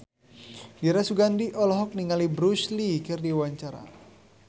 Dira Sugandi olohok ningali Bruce Lee keur diwawancara